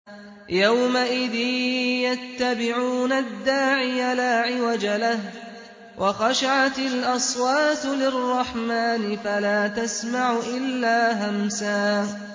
يَوْمَئِذٍ يَتَّبِعُونَ الدَّاعِيَ لَا عِوَجَ لَهُ ۖ وَخَشَعَتِ الْأَصْوَاتُ لِلرَّحْمَٰنِ فَلَا تَسْمَعُ إِلَّا هَمْسًا